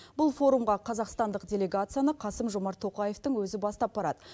бұл форумға қазақстандық делегацияны қасым жомарт тоқаевтың өзі бастап барады